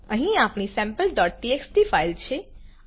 અહી આપણી sampleટીએક્સટી ફાઈલ છે